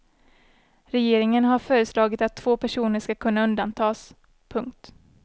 Regeringen har föreslagit att två personer ska kunna undantas. punkt